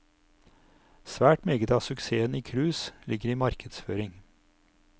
Svært meget av suksessen i cruise ligger i markedsføring.